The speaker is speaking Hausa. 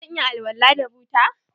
Zan iya alwala da buta?